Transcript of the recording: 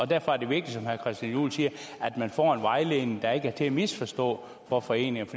derfor er det vigtigt som herre christian juhl siger at man får en vejledning der ikke er til at misforstå for foreningerne